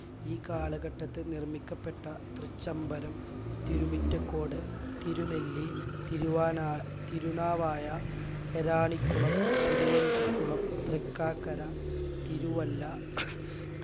ഈ കാലഘട്ടത്ത് നിർമ്മിക്കപ്പെട്ട തൃച്ചംബരം തിരുമിറ്റക്കോട് തിരുനെല്ലി തിരുവാനാ തിരുനാവായ ഐരാണിക്കുളം തിരുവഞ്ചിക്കുളം തൃക്കാക്കര തിരുവല്ല